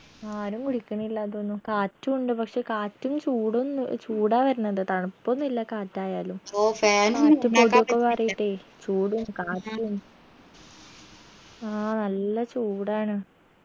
ആരും കുടിക്ക്ണില്ല തോന്നു കാറ്റു ഉണ്ട് പക്ഷെ കാറ്റും ചൂടൊന്നു ചൂടാ വെർണത് തണുപ്പൊന്നില്ല കാറ്റായാലും ചൂടും കാറ്റും ആ നല്ല ചൂടാണ്